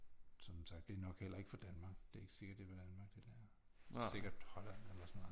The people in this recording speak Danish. Som sagt det er nok heller ikke fra Danmark det er ikke sikkert at det er Danmark det der det er sikkert Holland eller sådan noget